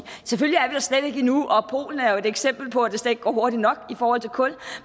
selvfølgelig er vi der slet ikke endnu og polen er jo et eksempel på at det slet ikke går hurtigt nok i forhold til kul